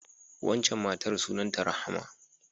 Waccan matar sunanta Rahama.